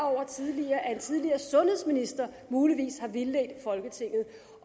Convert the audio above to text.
over tidligere at en tidligere sundhedsminister muligvis har vildledt folketinget